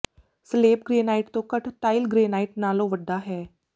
ਸਲੇਬ granite ਤੋਂ ਘੱਟ tile granite ਨਾਲੋਂ ਵੱਡਾ ਹੈ